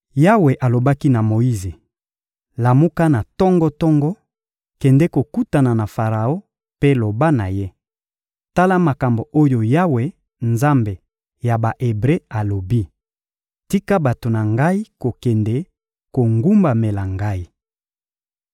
Yawe alobaki na Moyize: «Lamuka na tongo-tongo, kende kokutana na Faraon mpe loba na ye: ‹Tala makambo oyo Yawe, Nzambe ya Ba-Ebre, alobi: Tika bato na Ngai kokende kogumbamela Ngai.